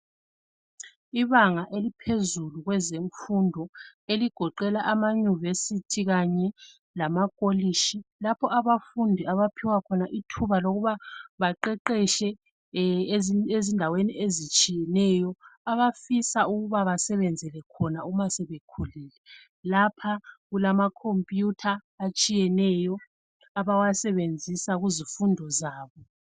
Ibanaga eliphezulu kwezemfundo eligoqela abama university kanye lamakolitshi lapho abafundi abaphiwa khona ithuba lokub baqeqetshe ezindaweni ezitshiyeneyo abafisa ukuba basebenzele khona uma sebekhulile lapha kulamacomputer atshiyeneyo abawasebenzisa kuzifundo zabo.